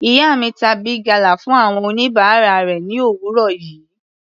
Ìyá mi ta Big gala fún àwọn oníbàárà rẹ̀ ni òwúrọ̀ yìí.